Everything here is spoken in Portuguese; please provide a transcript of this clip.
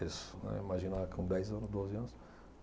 Né, imaginava com dez anos, doze anos.